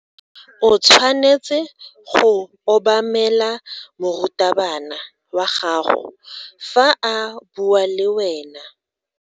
O tshwanetse go obamela morutabana wa gago fa a bua le wena.